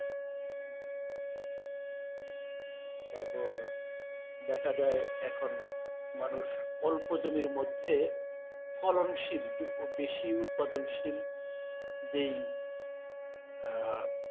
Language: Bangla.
তারপর দেখা যায় এখন মানুষ অল্প জমির মধ্যে ফলনশীল বে~বেশি উৎপাদনশীল যেই আহ